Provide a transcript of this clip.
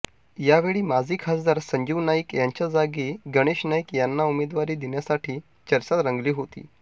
यावेळी माजी खासदार संजीव नाईक यांच्या जागी गणेश नाईक यांना उमेदवारी देण्यासाठी चर्चा रंगली होती